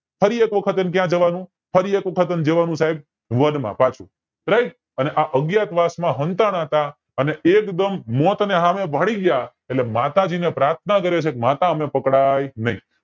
ફરી એક વખત ક્યાં જવાનું ફરી એક વખત વન માં પાછું અને અજ્ઞાતવાસ માં હંતાણાતા તા અને એજ મોત ને હામેં ભાળી ગયા એટલે માતાજીને પ્રાર્થના કરે છે કે માતા અમેં પકડાય નય